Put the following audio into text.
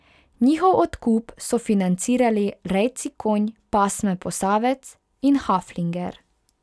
Njihov odkup so financirali rejci konj pasme posavec in haflinger.